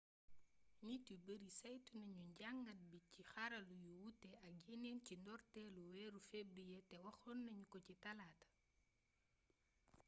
nit yu bari saytu nañu jàngat bi ci xarala yu wuuté ak yéneen ci ndortéelu wééru fébrié té waxonna ñu ko ci talaaata